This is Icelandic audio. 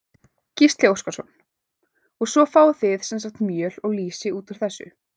Gísli Óskarsson: Og svo fáið þið sem sagt mjöl og lýsi út úr þessu?